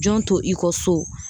Jɔn to i kɔ so